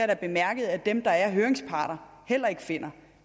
da bemærket at dem der er høringsparter heller ikke finder